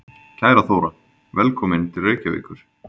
Kæra Þóra. Velkomin til Reykjavíkur.